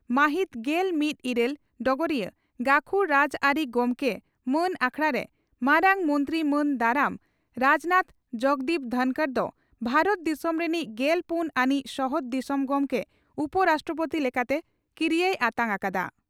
ᱢᱟᱹᱦᱤᱛ ᱜᱮᱞᱢᱤᱛ ᱤᱨᱟᱹᱞ (ᱰᱚᱜᱚᱨᱤᱭᱟᱹ) ᱺ ᱜᱟᱹᱠᱷᱩᱲ ᱨᱟᱡᱽᱟᱹᱨᱤ ᱜᱚᱢᱠᱮ ᱢᱟᱱ ᱟᱠᱷᱲᱟᱨᱮ ᱢᱟᱨᱟᱝ ᱢᱚᱱᱛᱤ ᱢᱟᱱ ᱫᱟᱨᱟᱢ ᱨᱟᱡᱽᱱᱟᱛᱷ ᱡᱚᱜᱽᱫᱤᱯ ᱫᱷᱚᱱᱠᱚᱨ ᱫᱚ ᱵᱷᱟᱨᱚᱛ ᱫᱤᱥᱚᱢ ᱨᱤᱱᱤᱡ ᱜᱮᱞ ᱯᱩᱱ ᱟᱹᱱᱤᱡ ᱥᱚᱦᱚᱫ ᱫᱤᱥᱚᱢ ᱜᱚᱢᱠᱮ (ᱩᱯᱚᱼᱨᱟᱥᱴᱨᱚᱯᱳᱛᱤ) ᱞᱮᱠᱟᱛᱮ ᱠᱤᱨᱤᱭᱟᱹᱭ ᱟᱛᱟᱝ ᱟᱠᱟᱫᱼᱟ ᱾